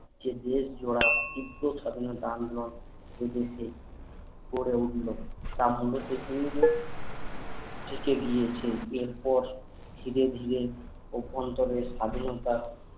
যে জোয়ার তিব্র স্বাধীনতা আন্দোলন এ দেশে গড়ে উঠলো তার মধ্যে থেকেই চেচেগিয়েছেন এর পর ধীরে ধীরে স্বাধীনতা